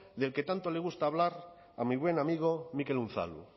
del que tanto le gusta hablar a mi buen amigo mikel unzalu